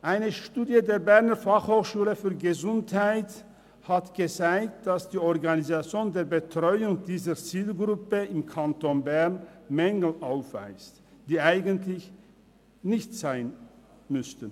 Eine Studie des Departements Gesundheit der Berner Fachhochschule (BFH) hat gezeigt, dass die Organisation der Betreuung dieser Zielgruppe im Kanton Bern Mängel aufweist, die eigentlich nicht sein müssten.